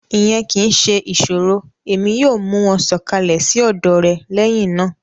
Iyẹn kii ṣe iṣoro Emi yoo mu wọn sọkalẹ si ọdọ rẹ lẹhinna.